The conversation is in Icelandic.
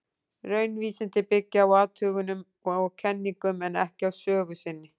Raunvísindin byggja á athugunum og kenningum, en ekki á sögu sinni.